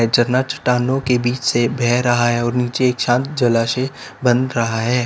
झरना चट्टानों के बीच से बह रहा है और नीचे शांत जलाशय बन रहा है।